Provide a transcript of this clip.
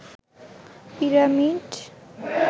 pyramid